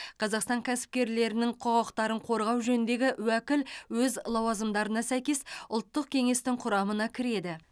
қазақстан кәсіпкерлерінің құқықтарын қорғау жөніндегі уәкіл өз лауазымдарына сәйкес ұлттық кеңестің құрамына кіреді